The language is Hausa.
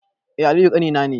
Eh aliyu ƙanina ne